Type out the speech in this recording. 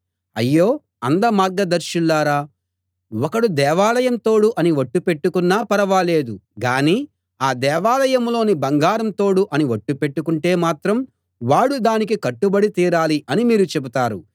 అయ్యో అంధ మార్గదర్శులారా ఒకడు దేవాలయం తోడు అని ఒట్టు పెట్టుకున్నా ఫరవాలేదు గానీ ఆ దేవాలయంలోని బంగారం తోడు అని ఒట్టు పెట్టుకుంటే మాత్రం వాడు దానికి కట్టుబడి తీరాలి అని మీరు చెబుతారు